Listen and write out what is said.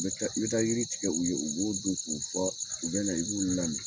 N bɛ taa, n bɛ taa yiri tigɛ u ye u b'o don k'u fɔ u bɛ na i b'u lami.